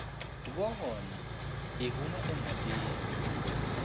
no va yi hume emhakeni